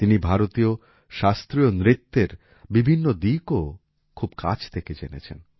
তিনি ভারতের শাস্ত্রীয় নৃত্যের বিভিন্ন দিকও খুব কাছ থেকে জেনেছেন